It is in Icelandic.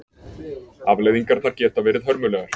Afleiðingarnar geta verið hörmulegar.